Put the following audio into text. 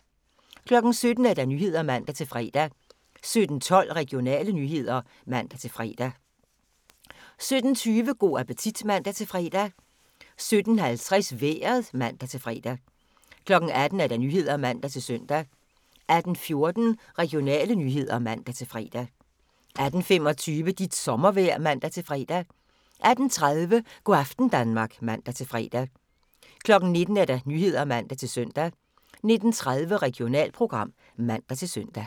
17:00: Nyhederne (man-fre) 17:12: Regionale nyheder (man-fre) 17:20: Go' appetit (man-fre) 17:50: Vejret (man-fre) 18:00: Nyhederne (man-søn) 18:14: Regionale nyheder (man-fre) 18:25: Dit sommervejr (man-fre) 18:30: Go' aften Danmark (man-fre) 19:00: Nyhederne (man-søn) 19:30: Regionalprogram (man-søn)